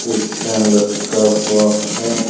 एक फैन लटका हुआ है।